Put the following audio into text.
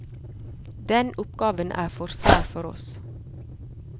Den oppgaven er for svær for oss.